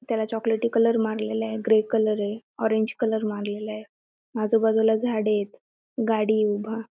त्याला चॉकलेटी कलर मारलेला आहे ग्रे कलर ये ऑरेंज कलर मारलेला आहे आजूबाजूला झाडे हेत. गाडी ये उभा.